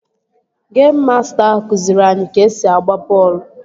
Geim masta ahụ kụziiri anyị ka-esi agba bọọlụ